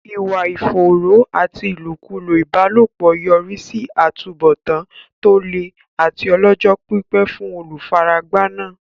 Ìwà ìfòòró àti ìlòkulò ìbálòpọ̀ yọrí sí àtúbọ̀tán tó le àti ọlọ́jọ́-pípẹ́ fún olùfaragbá náà.